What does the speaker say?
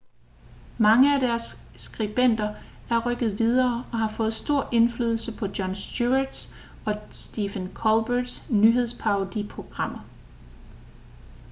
mange af deres skribenter er rykket videre og har fået stor indflydelse på jon stewarts og stephen colberts nyhedsparodi-programmer